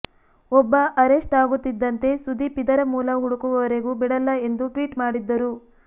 ಒಬ್ಬ ಅರೆಸ್ಟ್ ಆಗುತ್ತಿದ್ದಂತೆ ಸುದೀಪ್ ಇದರ ಮೂಲ ಹುಡುಕುವವರೆಗು ಬಿಡಲ್ಲ ಎಂದು ಟ್ವೀಟ್ ಮಾಡಿದ್ದರು